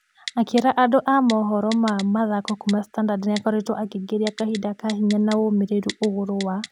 Akĩra andũ a mohoro ma mĩthako kuuma standard nĩakoretwo akĩingĩria kahinda ka hinya na womereru ũgũrũ wa ......